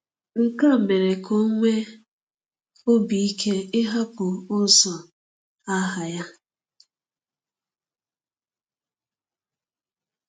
Nke a mere ka o nwee obi ike ịhapụ ụzọ agha ya.